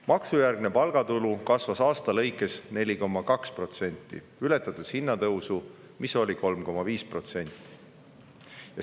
Maksujärgne palgatulu kasvas aasta jooksul 4,2% ja ületas hinnatõusu, mis oli 3,5%.